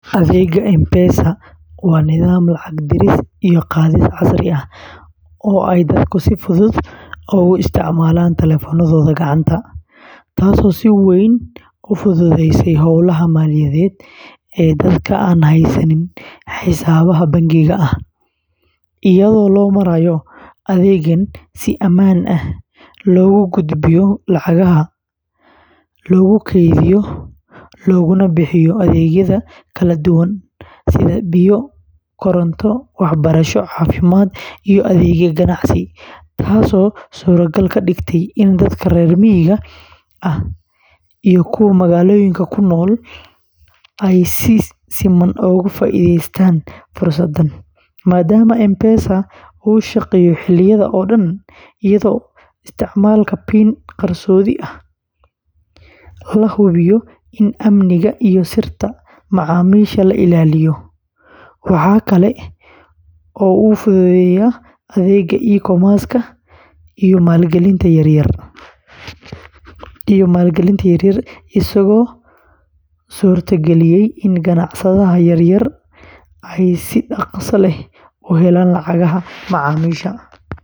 Adeegga M-Pesa waa nidaam lacag diris iyo qaadis casri ah oo ay dadku si fudud ugu isticmaalaan taleefannadooda gacanta, taasoo si weyn u fududeysay howlaha maaliyadeed ee dadka aan haysan xisaabaad bangiyo ah, iyadoo loo marayo adeeggan si amaan ah loogu gudbiyo lacagaha, loogu kaydiyo, loogana bixiyo adeegyada kala duwan sida biyo, koronto, waxbarasho, caafimaad, iyo adeegyada ganacsi, taasoo suuragal ka dhigtay in dadka reer miyiga ah iyo kuwa magaalooyinka ku nool ay si siman uga faa’iidaystaan fursadahan, maadaama M-Pesa uu shaqeeyo xilliyada oo dhan, iyadoo isticmaalka PIN qarsoodi ah la hubiyo in amniga iyo sirta macaamiisha la ilaaliyo, waxa kale oo uu fududeeyay adeegga E-commerce-ka iyo maalgelinta yaryar, isagoo suurta galiyay in ganacsatada yaryar ay si dhakhso leh u helaan lacagaha macaamiisha.